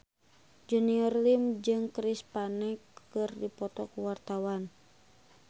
Junior Liem jeung Chris Pane keur dipoto ku wartawan